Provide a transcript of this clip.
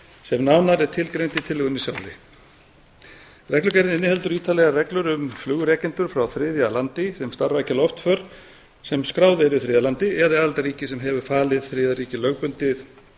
sem nánar er tilgreint í tillögunni sjálfri reglugerðin inniheldur ítarlegar reglur um flugrekendur frá þriðja landi sem starfrækja loftför sem skráð eru í þriðja landi eða í aðildarríki sem sem hefur falið þriðja landi lögbundið